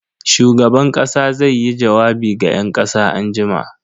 Shugaban kasa zaiyi jawabi ga yan kasa anjima.